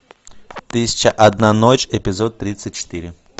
тысяча одна ночь эпизод тридцать четыре